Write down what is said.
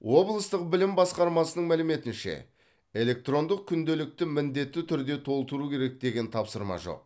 облыстық білім басқармасының мәліметінше электрондық күнделікті міндетті түрде толтыру керек деген тапсырма жоқ